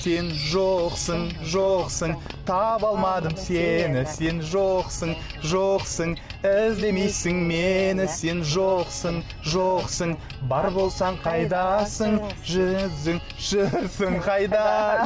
сен жоқсың жоқсың таба алмадым сені сен жоқсың жоқсың іздемейсің мені сен жоқсың жоқсың бар болсаң қайдасың жүрсің жүрсің қайда